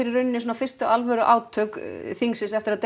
í raun fyrstu alvöru átök þingsins eftir að